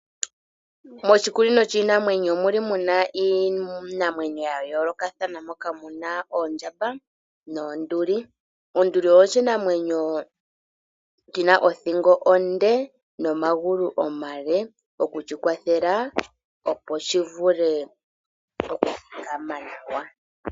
Moshikunino shiinamwenyo omuli muna iinamwenyo ya yoolokathana, moka muna oondjamba noonduli. Onduli oyo shinamwenyo shina othigo onde, nomagulu omale oku shi kwathela opo shi vule okuthikama nawa.